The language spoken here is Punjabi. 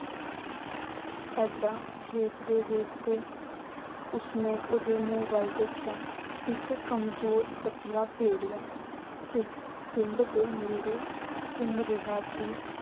ਏਦਾਂ ਵੇਖਦੇ ਵੇਖਦੇ ਉਸਨੇ ਉਹਦੇ ਵੱਲ ਦੇਖਿਆ। ਇੱਕ ਕਮਜ਼ੋਰ ਪਤਲਾ ਭੇੜੀਆ ਪਿੰਡ ਦੇ ਨੇੜੇ ਘੁੰਮ ਰਿਹਾ ਸੀ।